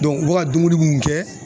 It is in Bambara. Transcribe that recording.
u be ka dumuni mun kɛ